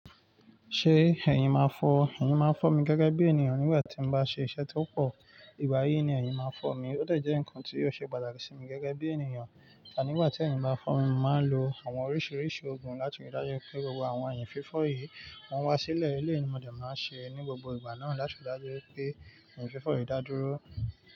Ṣé ẹ̀yìn máa fọ́ ọ? Ẹ̀yìn máa fọ́ mi gẹ́gẹ́ bí ènìyàn nígbà tí mo bá ṣe iṣẹ́ tó pọ̀. Ìgbà yìí ni ẹ̀yìn máa fọ́ mi, ó de je nǹkan tí ò ṣe pàtàkì sí mi gẹ́gẹ́ bí ènìyàn. Ànígbà tí ẹ̀yìn bá fọ́ mi, màá lo àwọn oríṣiríṣi ògùn láti rí dájú pé gbogbo àwọn ẹ̀yìn fífọ́ yìí wọ́n wá sílẹ̀. Eyi, mo dẹ̀ máa ṣe ẹ ní gbogbo ìgbà náà láti rí dájú pé ẹ̀yìn fífọ́ yìí dá dúró.